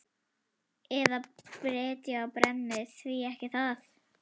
Eða brytja og brenni, því ekki það?